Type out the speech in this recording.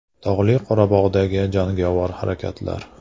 Tog‘li Qorabog‘dagi jangovar harakatlar.